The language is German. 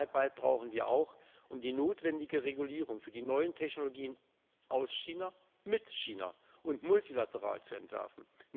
Zusammenarbeit brauchen wir auch, um die notwendige Regulierung für die neuen Technologien aus China mit China und multilateral zu entwerfen.